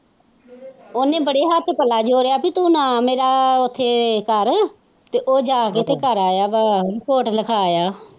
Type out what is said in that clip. ਉਹਨੇ ਬੜੇ ਹੱਥ ਪਲਾ ਜੋੜਿਆ ਸੀ ਤੋਂ ਨਾ ਮੇਰਾ ਉੱਥੇ ਕਰ ਤੇ ਉਹ ਜਾ ਕੇ ਤੇ ਕਰ ਆਇਆ ਵਾ ਤੇ ਰਿਪੋਰਟ ਲਿਖਾ ਆਇਆ ਹੈ।